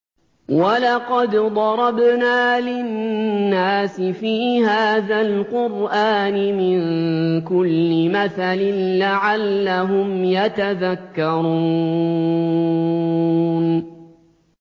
وَلَقَدْ ضَرَبْنَا لِلنَّاسِ فِي هَٰذَا الْقُرْآنِ مِن كُلِّ مَثَلٍ لَّعَلَّهُمْ يَتَذَكَّرُونَ